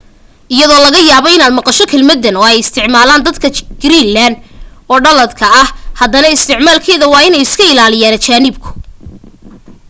iyadoo laga yaabo inaad maqasho kelmaddan oo ay isticmaalayaan dadka greeland ee dhaladka ah haddana isticmaalkeeda waa inay iska ilaaliyaan ajaanibku